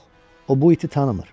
Yox, o bu iti tanımır.